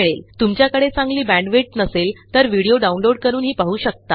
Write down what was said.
तुमच्याकडे चांगली बॅण्डविड्थ नसेल तर व्हिडीओ download160 करूनही पाहू शकता